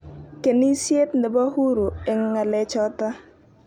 Kenisiet nebo huru eng ngalechoto.